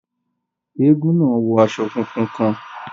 Èègún náà wọ aṣọ fúnfún kàn